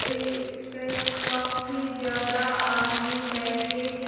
ये इसपे काफी ज्यादा आदमी बैठे हैं।